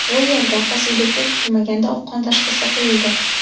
Bu yerda Hosilbekka kutilmaganda oqqon tashxisi qo‘yildi.